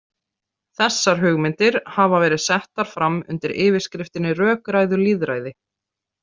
Þessar hugmyndir hafa verið settar fram undir yfirskriftinni rökræðulýðræði.